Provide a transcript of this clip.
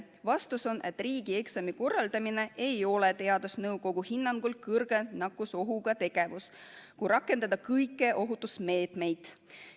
Vastus oli, et riigieksami korraldamine ei ole teadusnõukoja hinnangul kõrge nakkusohuga tegevus, kui rakendada kõiki ohutusmeetmeid.